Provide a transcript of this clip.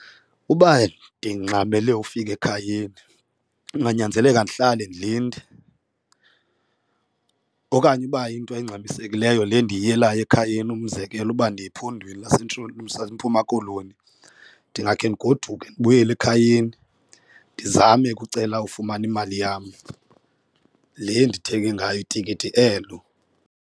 Uba ndingxamele ufika ekhayeni kunganyanzeleka ndihlale ndilinde okanye uba iyinto engxamisekileyo le ndiyiyelayo ekhayeni umzekelo uba ndiya ephondweni laseMpuma Koloni ndingakhe ndigoduke ndibuyele ekhayeni ndizame ukucela ufumana imali yam le ndithenge ngayo itikiti elo.